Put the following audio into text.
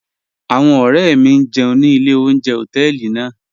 Awọn ọ̀rẹ̀ mi n jẹun ni ilẹ̀ ọ̀unjẹ̀ họtẹẹlì naa.